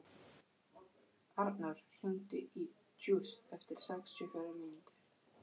Arnór, hringdu í Júst eftir sextíu og fjórar mínútur.